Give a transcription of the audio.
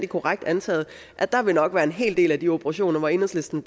korrekt antaget at der nok vil være en hel del af de operationer hvor enhedslisten